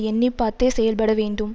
எண்ணி பார்த்தே செயல்பட வேண்டும்